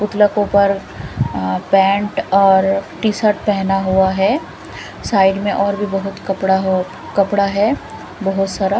पुतला को ऊपर पेंट और टी शर्ट पेहना हुआ हैं साइड में और भी बहोत कपड़ा हो कपड़ा है बहोत सारा।